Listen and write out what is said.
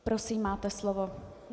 Prosím, máte slovo.